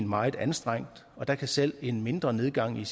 meget anstrengt og der kan selv en mindre nedgang i